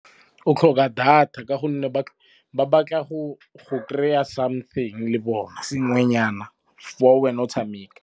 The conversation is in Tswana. O tlhoka data ka gonne ba batla go kry-a something le bona sengwenyana fa wena o tshameka.